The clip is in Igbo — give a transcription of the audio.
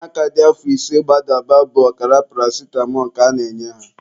Ụmụaka dị afọ ise gbadaba bụ ọkara paracitamọ ka a na-enye ha.